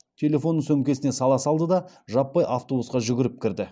телефонын сөмкесіне сала салды да жаппай автобусқа жүгіріп кірді